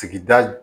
Sigida